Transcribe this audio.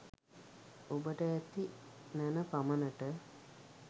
ඔබට ඇති නැණ පමණට